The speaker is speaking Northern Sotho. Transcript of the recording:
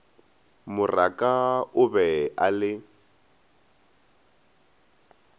moraka o be a le